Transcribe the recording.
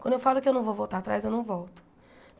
Quando eu falo que eu não vou voltar atrás, eu não volto.